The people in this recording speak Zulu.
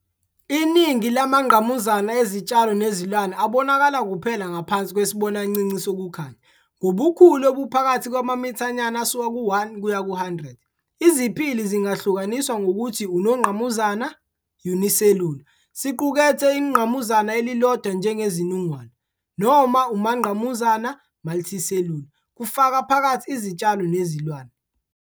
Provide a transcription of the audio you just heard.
Iningi lamangqamuzana ezitshalo nezilwane abonakala kuphela ngaphansi kwesibonancinci sokukhanya, ngobukhulu obuphakathi kwamamithanyana asuka ku-1 kuya ku-100. Iziphili zingahlukaniswa ngokuthi unongqamuzana "unicellular", siqukethe ingqamuzana elilodwa njengeZinungwana, noma umangqamuzana "multicellular", kufaka phakathi izitshalo nezilwane.